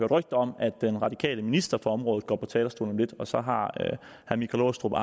rygter om at den radikale minister på området går på talerstolen om lidt og så har herre michael aastrup